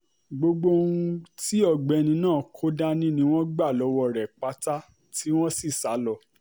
gbogbo ohun tí ọ̀gbẹ́ni náà kò dání ni wọ́n gbà lọ́wọ́ rẹ̀ pátá tí wọ́n sì sá lọ